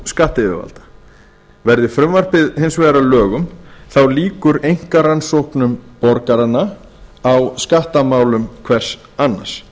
skattyfirvalda verði frumvarpið hins vegar að lögum lýkur einkaskattrannsóknum borgaranna á skattamálum hvers annars